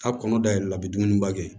K'a kɔnɔ da yɛlɛ a bi dumuni ba kɛ